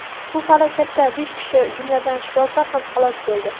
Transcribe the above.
Bu falokatda besh kishi, jumladan, shifokor ham halok bo‘ldi.